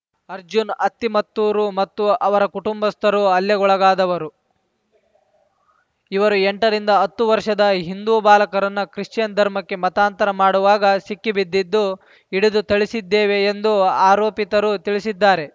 ಅರ್ಜುನ್‌ ಅತ್ತಿಮತ್ತೂರು ಮತ್ತು ಅವರ ಕುಟುಂಬಸ್ಥರು ಹಲ್ಲೆಗೊಳಗಾದವರು ಇವರು ಎಂಟರಿಂದ ಹತ್ತು ವರ್ಷದ ಹಿಂದೂ ಬಾಲಕರನ್ನ ಕ್ರಿಶ್ಚಿಯನ್‌ ಧರ್ಮಕ್ಕೆ ಮತಾಂತರ ಮಾಡುವಾಗ ಸಿಕ್ಕಿಬಿದ್ದಿದ್ದು ಹಿಡಿದು ಥಳಿಸಿದ್ದೇವೆ ಎಂದು ಆರೋಪಿತರು ತಿಳಿಸಿದ್ದಾರೆ